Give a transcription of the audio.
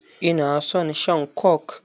Ina son shan coke.